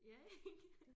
Ja ik